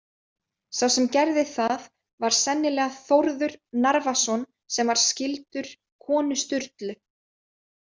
Sá sem gerði það var sennilega Þórður Narfason sem var skyldur konu Sturlu.